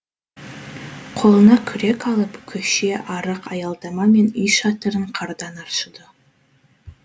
қолына күрек алып көше арық аялдама мен үй шатырын қардан аршыды